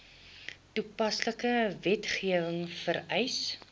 toepaslike wetgewing vereis